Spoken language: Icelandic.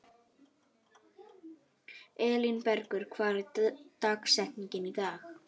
Er að auki möguleiki á að bæta úr meiðslavandræðunum?